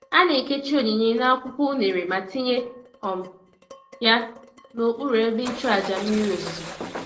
A na-ekechi onyinye n'akwụkwọ unere ma tinye um ya n'okpuru ebe ịchụàjà mmiri ozuzo.